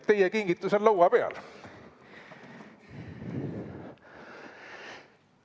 Teie kingitus on laua peal.